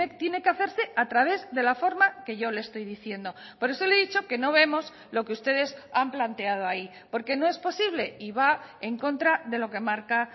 tiene que hacerse a través de la forma que yo le estoy diciendo por eso le he dicho que no vemos lo que ustedes han planteado ahí porque no es posible y va en contra de lo que marca